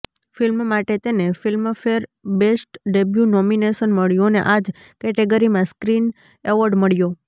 film માટે તેને Filmfare best debut nomination મળ્યું અને આજ કેટેગરીમાં સ્ક્રીન એવોર્ડ મળ્યો